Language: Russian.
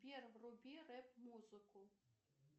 пьер вруби рэп музыку